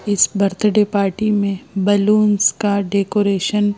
इस birthday party में balloons का डेकोरेशन --